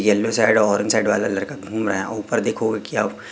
yellow side orange side वाला लड़का घूम रहा है ऊपर देखोगे कि आप--